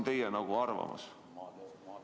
Mis on teie arvamus?